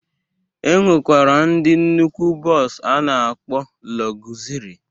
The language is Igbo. E nwekwara ndị nnukwu bọs a na-akpọ lọgụzịrị.